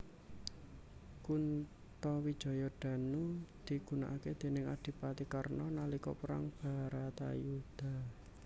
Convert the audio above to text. Kuntawijandanu digunakake déning adipati Karna nalika perang Bharatayudha